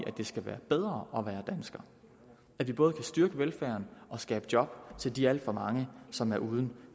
at det skal være bedre at være dansker at vi både kan styrke velfærden og skabe job til de alt for mange som er uden